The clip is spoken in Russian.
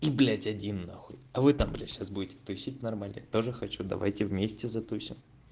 и блять один нахуй а вы там блять сейчас будете тусить нормально тоже хочу давайте вместе затусим